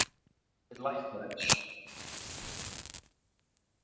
Erum við læknaðir?